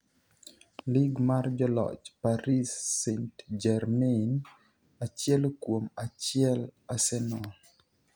Lig mar Joloch: Paris St-Jermain achiel kuom achiel Arsenal